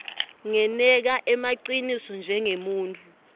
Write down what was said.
ngeneka emaciniso njengemuntfu